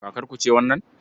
Kakarku ce wannan?